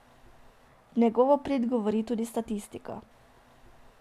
V njegovo prid govori tudi statistika.